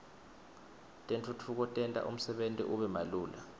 tentfutfuko tenta umsebenti ube malula